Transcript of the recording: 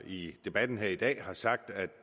i debatten her i dag har sagt at